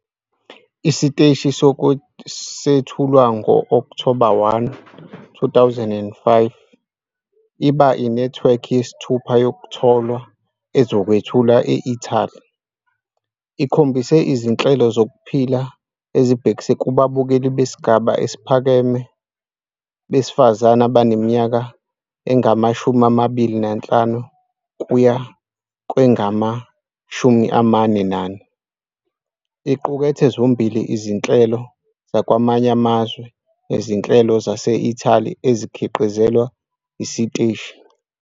Isiteshi sethulwa ngo-Okthoba 1, 2005, iba inethiwekhi yesithupha yokutholwa ezokwethulwa e-Italy. I khombise izinhlelo zokuphila ezibhekise kubabukeli besigaba esiphakeme besifazane abaneminyaka engama-25 kuya kwengama-44. Iqukethe zombili izinhlelo zakwamanye amazwe nezinhlelo zase-Italy ezikhiqizelwa isiteshi.